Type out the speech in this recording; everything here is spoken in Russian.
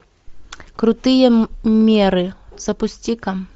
крутые меры запусти ка